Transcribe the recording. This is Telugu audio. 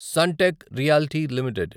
Suntech Realty limited